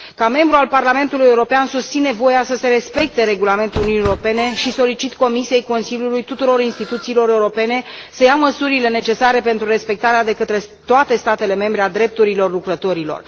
Ca membru al Parlamentului European, susțin că este nevoie să se respecte regulamentul Uniunii Europene și solicit Comisiei, Consiliului și tuturor instituțiilor europene să ia măsurile necesare pentru respectarea de către toate statele membre a drepturilor lucrătorilor.